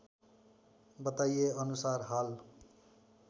बताइएअनुसार हाल